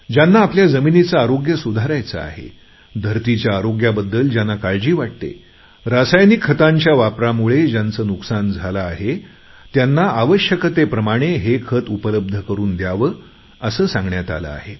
ज्यांना आपल्या जमिनीचे आरोग्य सुधारायचे आहे धरतीच्या आरोग्याबद्दल ज्यांना काळजी वाटते रासायनिक खतांच्या वापरामुळे ज्यांचं नुकसान झाले आहे त्यांना आवश्यकतेप्रमाणे हे खत उपलब्ध करून द्यावे असे सांगण्यात आले आहे